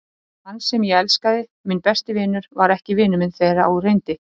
Hann sem ég elskaði, minn besti vinur, var ekki vinur minn þegar á reyndi.